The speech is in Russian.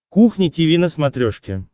кухня тиви на смотрешке